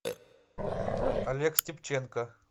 олег степченко